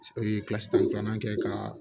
kilasi tan ni filanan kɛ ka